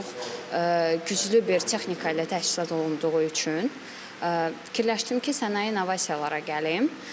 Yəni çox güclü bir texnika ilə təchizat olunduğu üçün fikirləşdim ki, sənaye innovasiyalara gəlim.